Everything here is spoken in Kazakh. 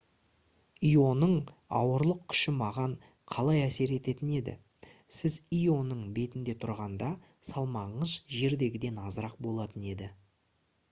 ионың ауырлық күші маған қалай әсер ететін еді сіз ионың бетінде тұрғанда салмағыңыз жердегіден азырақ болатын еді